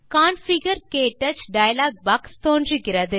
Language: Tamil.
கான்ஃபிகர் - க்டச் டயலாக் பாக்ஸ் தோன்றுகிறது